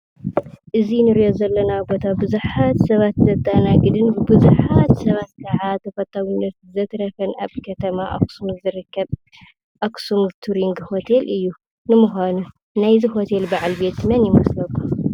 እዚ እንሪኦ ዘለና ቦታ ቡዙሓት ሰባት ዘተአናግድን ቡዙሓት ሰባት ከአ ተፈታውነት ዘትረፈን አብ ከተማ አክሱም ዝርከብ አክሱም ቱሪንግ ሆቴል እዩ፡፡ ንምዃኑ ናይዚ ሆቴል በዓል ቤት መን ይመስለኩም?